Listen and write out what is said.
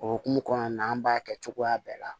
O hukumu kɔnɔna na an b'a kɛ cogoya bɛɛ la